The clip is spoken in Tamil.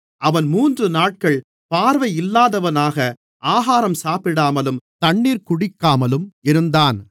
அவன் மூன்று நாட்கள் பார்வையில்லாதவனாக ஆகாரம் சாப்பிடாமலும் தண்ணீர் குடிக்காமலும் இருந்தான்